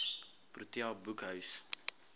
protea boekhuis